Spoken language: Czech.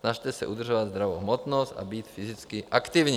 snažte se udržovat zdravou hmotnost a být fyzicky aktivní.